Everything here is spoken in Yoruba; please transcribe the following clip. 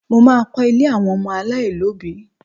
Mo má a kọ́ ilé àwọn ọmọ aláìlóbìí